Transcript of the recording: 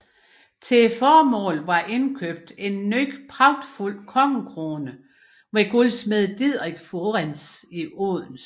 Til formålet var indkøbt en ny pragtfuld kongekrone hos guldsmed Didrik Fuirens i Odense